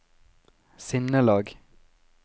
sinnelag